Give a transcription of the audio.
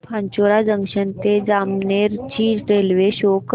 Pachora junction ते जामनेर ची railway शो कर